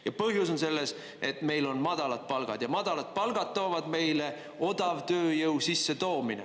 Ja põhjus on selles, et meil on madalad palgad, ja madalad palgad toovad meile odavtööjõu sissetoomise.